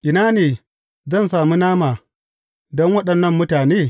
Ina ne zan sami nama in waɗannan mutane?